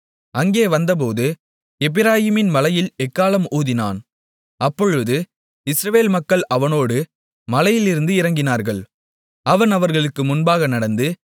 அங்கே வந்தபோது எப்பிராயீம் மலையில் எக்காளம் ஊதினான் அப்பொழுது இஸ்ரவேல் மக்கள் அவனோடு மலையிலிருந்து இறங்கினார்கள் அவன் அவர்களுக்கு முன்பாக நடந்து